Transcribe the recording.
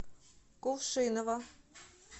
кувшиново